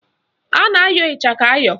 A na-ayọ ịchaka ayọ